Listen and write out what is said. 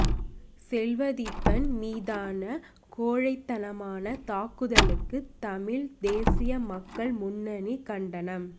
செல்வதீபன் மீதான கோழைத்தனமான தாக்குதலுக்கு தமிழ்த் தேசிய மக்கள் முன்னணி கண்டனம்